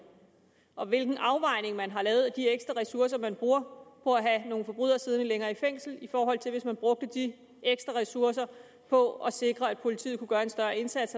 og hvilken afvejning man har lavet af de ekstra ressourcer man bruger på at have nogle forbrydere siddende længere i fængsel i forhold til hvis man brugte de ekstra ressourcer på at sikre at politiet kunne gøre en større indsats